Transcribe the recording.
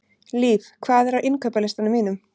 Liv, hvað er á innkaupalistanum mínum?